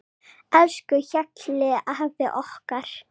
Elsku Hjalli afi okkar.